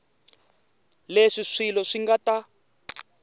leswi swilo swi nga ta